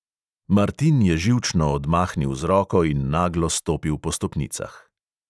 Martin je živčno odmahnil z roko in naglo stopil po stopnicah.